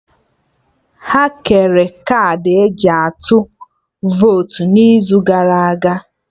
Ha kere kaadị eji atụ votu n'izu gara aga